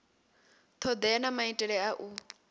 thodea na maitele a u